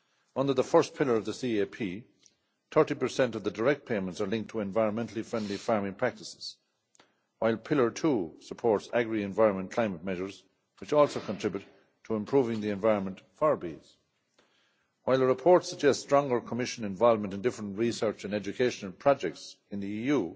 Under the first pillar of the CAP, 30 of the direct payments are linked to environment friendly farming practices, while pillar II supports agri environment climate measures which also contribute to improving the environment for bees. While the report suggests stronger Commission involvement in various research and education projects in the EU,